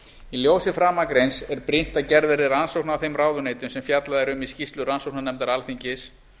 í ljósi framangreinds er brýnt að gerð verði rannsókn á þeim ráðuneytum sem fjallað er um í skýrslu rannsóknarnefndar alþingis